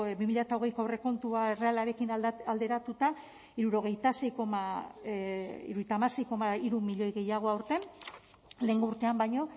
bi mila hogeiko aurrekontua errealarekin alderatuta hirurogeita hamasei koma hiru milioi gehiago aurten lehengo urtean baino